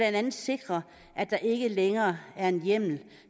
andet sikre at der ikke længere er en hjemmel